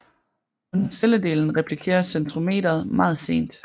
Under celledelingen replikeres centromeret meget sent